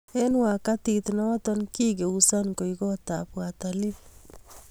Eng wakatiit noto kikigeuzan koeek kootab watalii